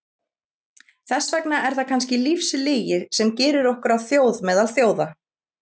Þess vegna er það kannski lífslygi sem gerir okkur að þjóð meðal þjóða.